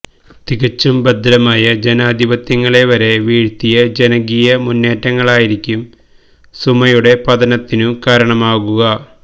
തികച്ചും ഭദ്രമായ ജനാധിപത്യങ്ങളെ വരെ വീഴ്ത്തിയ ജനകീയ മുന്നേറ്റങ്ങളായിരിക്കും സുമയുടെ പതനത്തിനും കാരണമാകുക